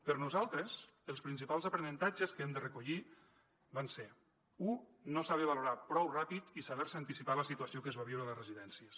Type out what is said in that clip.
per nosaltres els principals aprenentatges que hem de recollir van ser u no saber valorar prou ràpid i saber se anticipar a la situació que es va viure a les residències